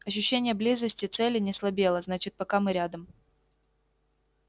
ощущение близости цели не слабело значит пока мы рядом